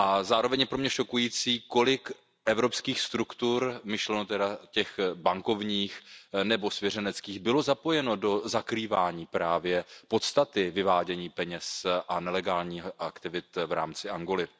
Zároveň je pro mne šokující, kolik evropských struktur, myšleno tedy těch bankovních nebo svěřenských, bylo zapojeno do zakrývání právě podstaty vyvádění peněz a nelegálních aktivit v rámci Angoly.